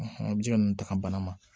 a bɛ se ka ninnu ta ka bana ma